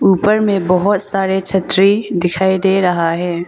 ऊपर में बहोत सारे छतरी दिखाई दे रहा है।